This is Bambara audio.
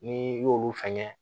N'i y'olu fɛngɛ